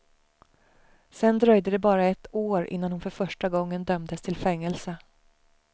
Sedan dröjde det bara ett år innan hon för första gången dömdes till fängelse.